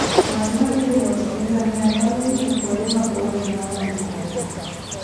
Ng'at ma thi e wuoth gi ngamia nyalo ng'iyo kuonde maboyo ma onge koko.